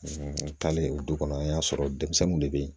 N taalen o du kɔnɔ an y'a sɔrɔ denmisɛnninw de be yen